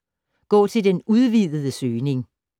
Gå til den udvidede søgning